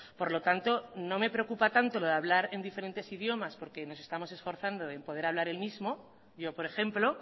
por lo tanto no me preocupa tanto lo de hablar en diferentes idiomas porque nos estamos esforzando en poder hablar el mismo yo por ejemplo